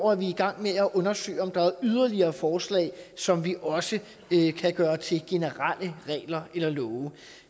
er vi i gang med at undersøge om der er yderligere forslag som vi også kan gøre til generelle regler eller love